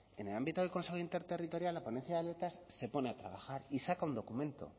en el ámbito del consejo interterritorial la ponencia de se pone a trabajar y saca un documento